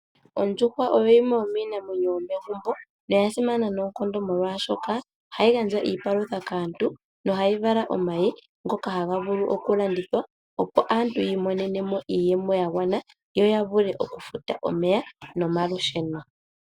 Ondjuhwa oyo yimwe yomiinamwenyo yomegumbo na oyasimana molwashoka ohayi gandja iipalutha kaantu yo ohayi vala omayi ngoka haga vulu okulandithwa, opo aantu yi monenemo iiyemo yagwana opo yavule okufuta omeya nomalusheno.